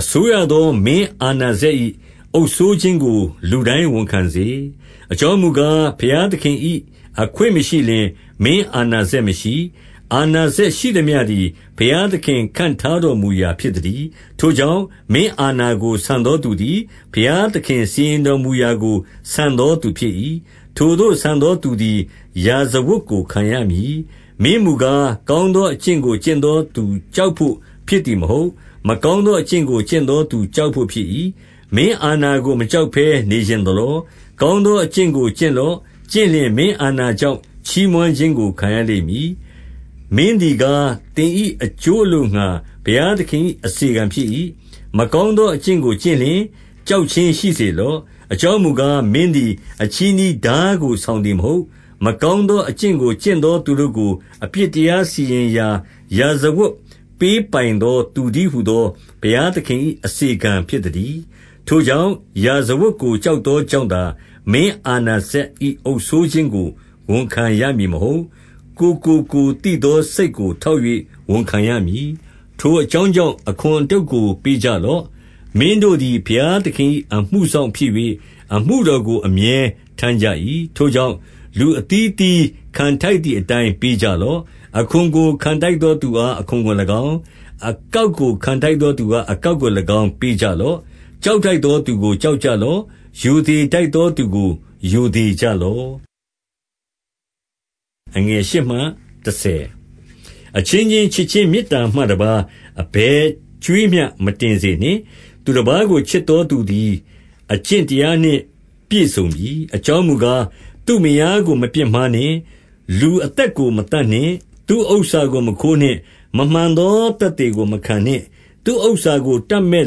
အစိုရသော မင်းအာဏာစက်၏ အုပ်စိုးခြင်းကို လူတိုင်းဝန်ခံစေ။ အကြောင်းမူကား၊ ဘုရားသခင်၏ အခွင့်မရှိလျှင်၊ မင်းအာဏာစက်မရှိ။ အာဏာစက်ရှိသမျှသည် ဘုရားသခင် ခန့်ထားတော်မူရာဖြစ်သတည်း။ 2 ထိုကြောင့်၊ မင်းအာဏာကို ဆန်သောသူသည် ဘုရားသခင် စီရင်တော်မူရာကို ဆန်သောသူဖြစ်၏။ ထိုသို့ဆန်သောသူသည် ရာဇဝတ်ကို ခံရမည်။ 3 မင်းမူကား၊ ကောင်းသောအကျင့်ကို ကျင့်သောသူကြောက်ဘို့ဖြစ်သည်မဟုတ်။ မကောင်းသော အကျင့်ကို ကျင့်သောသူကြောက်ဘို့၏။ မင်းအာဏာကို မကြောက်ဘဲနေချင်သလော။ ကောင်းသော အကျင့်ကိုကျင့်လော့။ ကျင့်လျှင်မင်းအာဏာကြောင့်ချီးမွမ်းခြင်းကို ခံရလိမ့်မည်။ 4 မင်းသည်ကား၊ သင်၏အကျိုးအလိုငှါ ဘုရားသခင်၏ အစေခံဖြစ်၏။ မကောင်းသောအကျင့်ကို ကျင့်လျှင်၊ ကြောက်ခြင်းမရှိစေလော့။ အကြောင်းမူကား၊ မင်းသည်အချည်းနှီးထားကို ဆောင်သည်မဟုတ်။ မကောင်းသောအကျင့်ကို ကျင့်သောသူတို့ကို အပြစ်တရားစီရင်၍ ရာဇဝတ်ပေးပိုင်သော သူတည်းဟူသော ဘုရားသခင်၏ အစေခံဖြစ်သတည်း။ 5 ထိုကြောင့်၊ ရာဇဝတ်ကိုကြောက်သောကြောင့်သာ မင်းအာဏာစက်၏အုပ်စိုးခြင်းကို ဝန်ခံရမည် မဟုတ်။ ကိုယ်ကိုကိုယ်သိသော စိတ်ကို ထောက်၍ ဝန်ခံရမည်။ 6 ထိုအကြောင်းကြောင့် အခွန်အတုတ်ကို ပေးကြလော့။ မင်းတို့သည် ဘုရားသခင်၏ အမှုစောင့်ဖြစ်၍၊ အမှုတော်ကို အမြဲထမ်းကြ၏။ 7 ထိုကြောင့်၊ လူအသီးအသီးခံထိုက်သည်အတိုင်း ပေးကြလော့။ အခွန်ကိုခံထိုက်သောသူအား အခွန်ကို ၎င်း၊ အကောက်ကို ခံထိုက်သော သူအား အကောက်ကို၎င်း ပေးကြလော့။ ကြောက်ထိုက်သောသူကို ကြောက်ကြလော့။ ရိုသေထိုက်သောသူကို ရိုသေကြလော့။ 8 အချင်းချင်းချစ်ခြင်းမေတ္တာမှတပါး အဘယ်ကြွေးမျှ မတင်စေနှင့်။ သူတပါးကိုချစ်သောသူသည် အကျင့်တရားနှင့်ပြည့်စုံပြီ။ 9 အကြောင်းမူကား၊ သူ့မယားကိုမပြစ်မှားနှင့်၊ လူအသက်ကို မသတ်နှင့်၊ သူ့ဥစ္စာကိုမခိုးနှင့်၊ မမှန်သော သက်သေကိုမခံနှင့်၊ သူ့ဥစ္စာကို တပ်မက်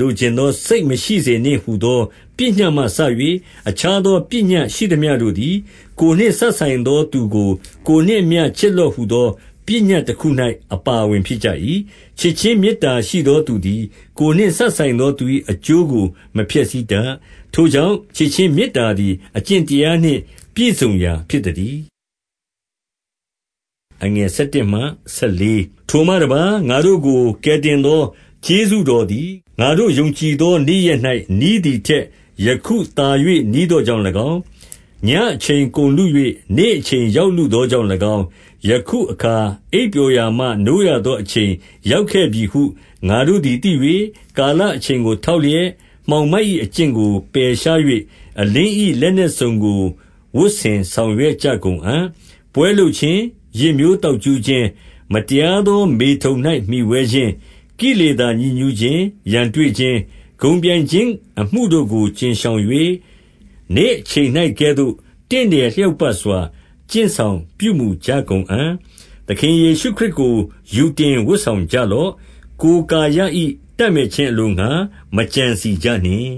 လိုချင်သောစိတ်မရှိစေနှင့်ဟူသော ပညတ်မှစ၍ အခြားသော ပညတ် ရှိသမျှတို့သည်၊ ကိုယ်နှင့်စပ်ဆိုင်သောသူကို ကိုယ်နှင့်အမျှ၊ ချစ်လော့ဟူသော ပညတ်တခု၌ အပါအဝင် ဖြစ်ကြ၏။ 10 ချစ်ခြင်းမေတ္တာရှိသောသူသည် ကိုယ်နှင့် မစပ်ဆိုင်သော သူ၏အကျိုးကို မဖျက်ဆီးတတ်။ ထိုကြောင့်၊ ချစ်ခြင်းမေတ္တာသည် အကျင့်တရားပြည့်စုံရာ ဖြစ်သတည်း။ 11 ထိုမှတပါး၊ ငါတို့ကို ကယ်တင်သော ကျေးဇူးတော်သည် ငါတို့ ယုံကြည်သော နေ့ရက်၌နီးသည်ထက် ယခုသာ၍ နီးသောကြောင့်၎င်း၊ 12 ညဉ့်အချိန်ကုန်လု၍ နေ့အချိန်ရောက်လုသောကြောင့်၎င်း၊ ယခုအခါ အိပ်ပျော်ရာမှ နိုးရသော အချိန် ရောက်ခဲ့ပြီဟု ငါတို့သည် သိ၍ ကာလအချိန်ကို ထောက်လျက်၊ မှောင်မိုက်၏အကျင့်ကို ပယ်ရှား၍၊ အလင်း၏ လက်နက်စုံကို ဝတ်ဆင်ဆောင်ရွက်ကြကုန်အံ့။ 13 ပွဲလုပ်ခြင်း၊ ယစ်မျိုးသောက်ကြူးခြင်း၊ မတရားသော မေထုန်၌ မှီဝဲခြင်း၊ ကိလေသာညစ်ညူးခြင်း၊ ရန်တွေ့ခြင်း၊ ဂုဏ်ပြိုင်ခြင်းအမှုတို့ကို ကြဉ်ရှောင်၍၊ နေ့အချိန်၌ကဲ့သို့ တင့်တယ်လျောက်ပတ်စွာ ကျင့်ဆောင် ပြုမူကြကုန်အံ့။ 14 သခင်ယေရှုခရစ်ကို ယူတင်ဝတ်ဆောင်ကြလော့။ ကိုယ်ကာယ၏တပ်မက်ခြင်းအလိုငှါ မကြံစည် ကြနှင့်